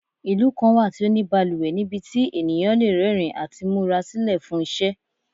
Ilu kan wa ti o ni baluwe nibiti eniyan le rẹrin ati mura silẹ fun iṣẹ